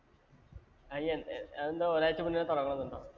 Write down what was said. അയിന് എ അതെന്താ ഒരാഴ്ച മുന്നേ തൊടങ്ങണോന്നുണ്ടോ?